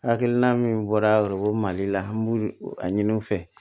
Hakilina min bɔra mali la an b'u a ɲini u fɛ